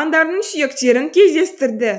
аңдардың сүйектерін кездестірді